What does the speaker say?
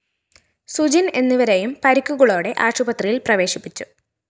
സുജിന്‍ എന്നിവരേയും പരിക്കുകളോടെ ആശുത്രിയില്‍ പ്രവേശിപ്പിച്ചു